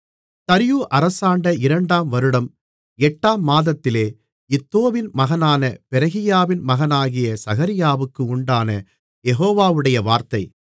தரியு அரசாண்ட இரண்டாம் வருடம் எட்டாம் மாதத்திலே இத்தோவின் மகனான பெரகியாவின் மகனாகிய சகரியாவுக்கு உண்டான யெகோவாவுடைய வார்த்தை